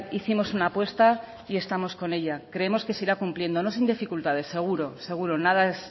hicimos una apuesta y estamos con ella creemos que se irá cumpliendo no sin dificultades seguro seguro nada es